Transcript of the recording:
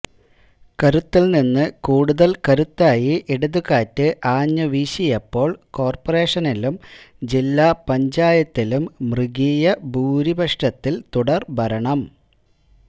കരുത്തിൽനിന്ന് കൂടുതൽ കരുത്തായി ഇടതുകാറ്റ് ആഞ്ഞുവീശിയപ്പോൾ കോർപറേഷനിലും ജില്ല പഞ്ചായത്തിലും മൃഗീയ ഭൂരിപക്ഷത്തിൽ തുടർഭരണം